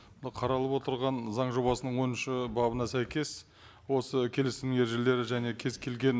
мына қаралып отырған заң жобасының оныншы бабына сәйкес осы келісім ережелері және кез келген